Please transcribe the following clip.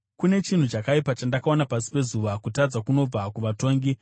Kune chinhu chakaipa chandakaona pasi pezuva, kutadza kunobva kuvatongi: